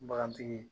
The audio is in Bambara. Bagantigi